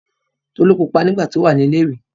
Tolú pupa nígbà tí ó wà ní ilé-ìwé.